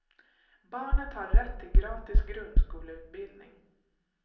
Barnet har rätt till gratis grundskoleutbildning.